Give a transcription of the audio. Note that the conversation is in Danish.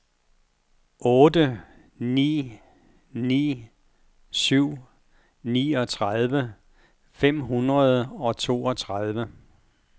otte ni ni syv niogtredive fem hundrede og toogtredive